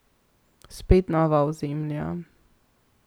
Spet nova ozemlja.